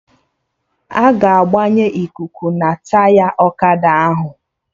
Aga agbanye ikuku na Taya ọkada ahụ